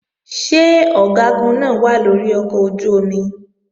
Ṣé Ọ̀gágun náà wà lórí ọkọ̀ ojú-omi?